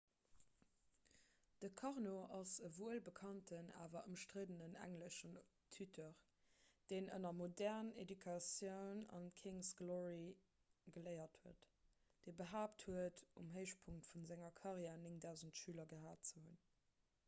de karno ass e wuelbekannten awer ëmstriddenen englesche tuteur deen ënner modern education and kings's glory geléiert huet dee behaapt huet um héichpunkt vu senger karriär 9 000 schüler gehat ze hunn